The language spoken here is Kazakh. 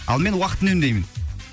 ал мен уақыт үнемдеймін